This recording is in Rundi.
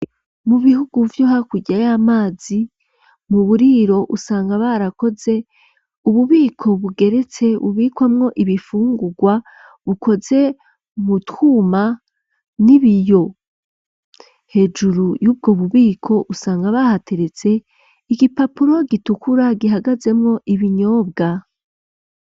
Mu bihugu vyo hakurya y'amazi mu buriro usanga barakoze ububiko bugeretse bubikwamwo ibifungurwa bukoze mu twuma n'ibiyo hejuru y'ubwo bubiko usanga bahateretse igipapuro gitukura gihagazemwo ibinyobwa.